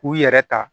K'u yɛrɛ ta